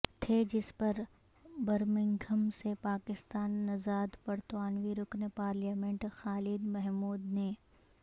تھے جس پر برمنگھم سے پاکستانی نژاد برطانوی رکن پارلیمنیٹ خالد محمود نے